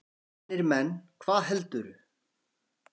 Vanir menn, hvað heldurðu!